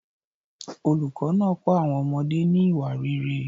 Olùkọ́ náà kọ́ àwọn ọmọdé ní ìwà rere.